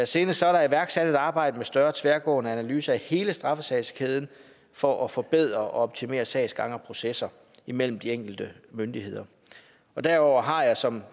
senest er der iværksat et arbejde med en større tværgående analyse af hele straffesagskæden for at forbedre og optimere sagsgang og processer imellem de enkelte myndigheder derudover har jeg som